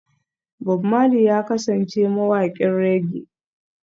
Bob Marley ya kasance mawaƙin reggae